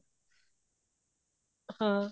ਹਾਂ